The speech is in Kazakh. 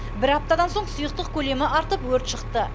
бір аптадан соң сұйықтық көлемі артып өрт шықты